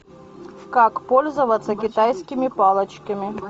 как пользоваться китайскими палочками